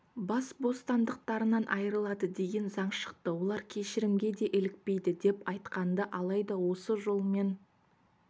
бас бостандықтарынан айырылады деген заң шықты олар кешірімге де ілікпейді деп айтқан-ды алайда осы жолмен